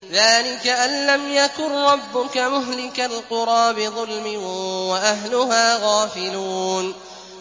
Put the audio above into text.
ذَٰلِكَ أَن لَّمْ يَكُن رَّبُّكَ مُهْلِكَ الْقُرَىٰ بِظُلْمٍ وَأَهْلُهَا غَافِلُونَ